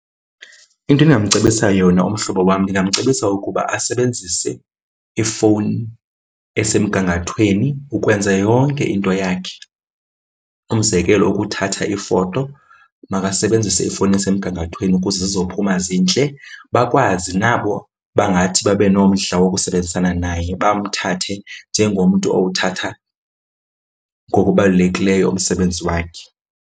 Into endingamcebisa yona umhlobo wam, ndingamcebisa ukuba asebenzise ifowuni esemgangathweni ukwenza yonke into yakhe. Umzekelo ukuthatha iifoto makasebenzise ifowuni esemgangathweni ukuze zizophuma zintle, bakwazi nabo bangathi babenomdla wokusebenzisana naye bamthathe njengomntu owuthatha ngokubalulekileyo umsebenzi wakhe.